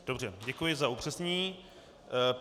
Dobře, děkuji za upřesnění.